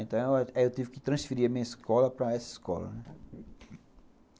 Então, eu eu tive que transferir a minha escola para essa escola, né.